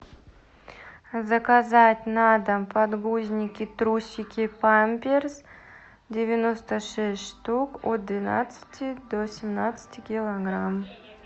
заказать на дом подгузники трусики памперс девяносто шесть штук от двенадцати до семнадцати килограмм